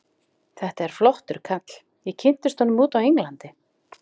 Þetta er flottur kall, ég kynntist honum úti á Englandi.